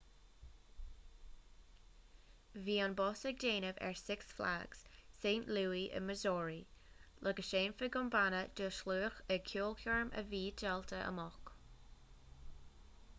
bhí an bus ag déanamh ar six flags st louis i missouri le go seinnfeadh an banna do shlua ag ceolchoirm a bhí díolta amach